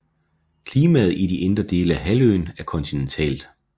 Klimaet i de indre dele af halvøen er kontinentalt